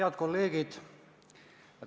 Head kolleegid!